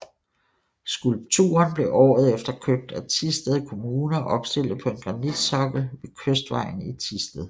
Skulpturen blev året efter købt af Thisted Kommune og opstilet på en granitsokkel ved Kystvejen i Thisted